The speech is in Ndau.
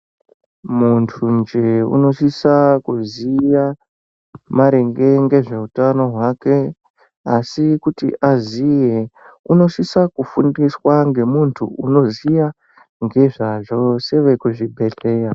Muntunje unosisa kuziya maringe ngezveutano hwake asi kuti aziye unosisa kufundiswa ngemuntu unoziya ngezvazvo sevekuzvibhedhleya.